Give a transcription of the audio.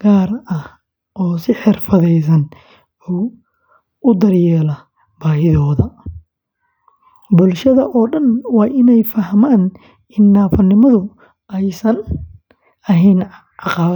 gaar ah oo si xirfadeysan u daryeela baahiyahooda. Bulshada oo dhan waa in ay fahmaan in naafonimadu aysan ahayn caqabad kaliya.